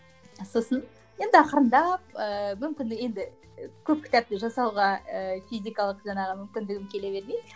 сосын енді ақырындап ыыы мүмкіндік енді көп кітапты жасауға ыыы физикалық жаңағы мүмкіндігім келе бермейді